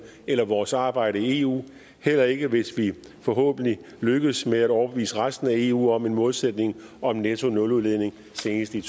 eller vores arbejde i eu heller ikke hvis vi forhåbentlig lykkes med at overbevise resten af eu om en målsætning om nettonuludledning senest i